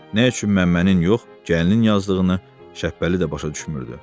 Nə üçün Məmmənin yox, gəlinin yazdığını Şəbəli də başa düşmürdü.